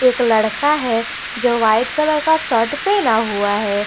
एक लड़का है जो वाइट कलर का शर्ट पहना हुआ है।